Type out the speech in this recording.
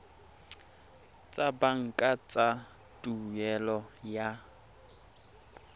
tsa banka tsa tuelo ya